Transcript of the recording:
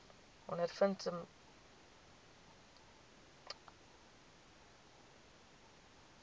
ondervind ek simptome